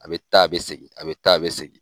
A be taa, a be segin, a be taa, a be segin